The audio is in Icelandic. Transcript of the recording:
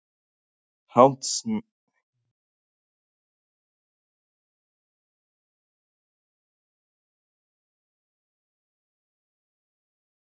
Háttsemin í ummælunum sé sú sama og Morgunblaðið hafi kallað Löglegt?